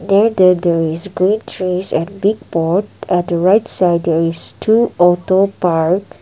that there is grey chairs and big board at the right there is two auto parked.